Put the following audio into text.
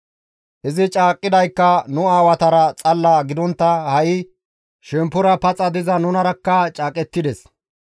Izi caaqqidaykka nu aawatara xalla gidontta ha7i shemppora paxa diza nunarakka caaqettides.